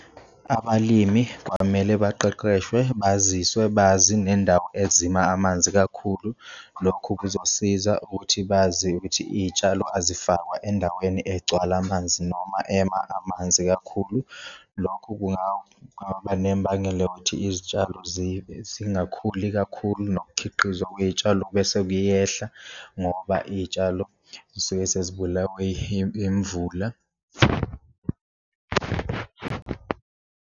Abalimi kwamele baqeqeshwe baziswe bazi nendawo ezima amanzi kakhulu, lokhu kuzosiza ukuthi bazi ukuthi iyitshalo azifakwa endaweni egcwala amanzi noma ema amanzi kakhulu. Lokhu kungaba nembangela yokuthi izitshalo zingakhuli kakhulu, nokukhiqizwa kwey'tshalo bese kuyehla ngoba iy'tshalo zisuke sezibulawe imvula.